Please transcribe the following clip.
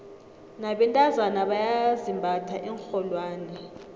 nabentazana bayazimbatha iinrholwane